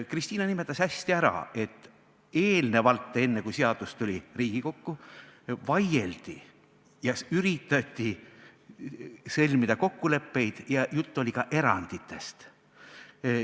Kristina nimetas hästi ära, et eelnevalt, enne kui seadus tuli Riigikokku, vaieldi ja üritati sõlmida kokkuleppeid ja juttu oli ka eranditest.